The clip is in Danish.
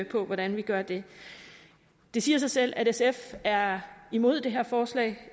på hvordan vi gør det det siger sig selv at sf er imod det her forslag